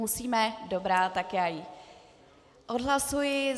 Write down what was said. Musíme, dobrá, tak já ji odhlasuji.